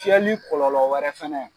Fiyɛli kɔlɔlɔ wɛrɛ fɛnɛ